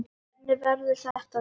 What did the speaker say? Hvernig verður þetta, Sif?